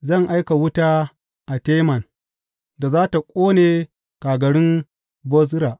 Zan aika wuta a Teman da za tă ƙone kagarun Bozra.